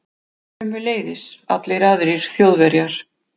Sömuleiðis allir aðrir Þjóðverjar.